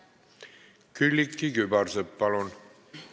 Külliki Kübarsepp, palun!